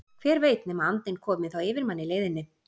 hver veit nema andinn komi þá yfir mann í leiðinni!